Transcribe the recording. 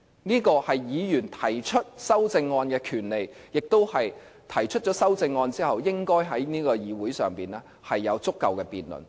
這個是議員提出修正案的權利，亦是提出修正案後，應該在議會上有足夠的辯論。